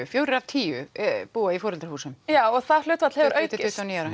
fjórar af tíu búa í foreldrahúsum já og það hlutfall hefur aukist